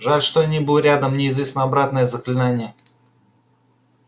жаль что я не был рядом мне известно обратное заклинание